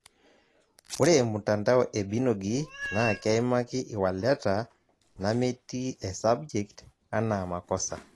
Ore mtandao e Binogi naa keimak iwaleta nameeti esabjekt anaa makosa